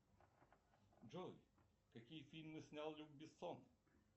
джой какие фильмы снял люк бессон